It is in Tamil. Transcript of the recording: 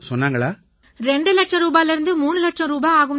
இரண்டரை இலட்சம் ரூபாய்லேர்ந்து மூணு இலட்சம் ரூபாய் ஆகும்னாங்க